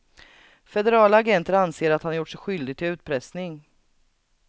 Federala agenter anser att han har gjort sig skyldig till utpressning.